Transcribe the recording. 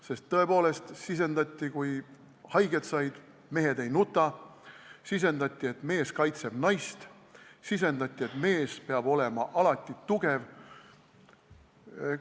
Sest tõepoolest sisendati, et mehed ei nuta, kui haiget saavad, sisendati, et mees kaitseb naist, sisendati, et mees peab alati olema tugev.